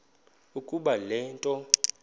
ukuba le nto